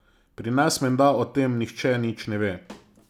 Pri nas menda o tem nihče nič ne ve.